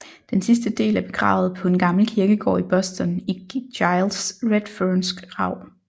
Den sidste del er begravet på en gammel kirkegård i Boston i Giles Redfernes grav